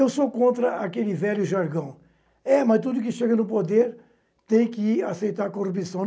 Eu sou contra aquele velho jargão é, mas tudo que chega no poder tem que aceitar corrupção.